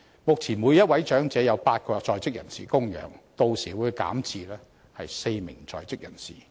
目前，每1名長者由8個在職人士供養，屆時會減至只有4名在職人士供養。